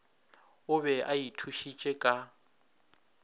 o be a ithušitše ka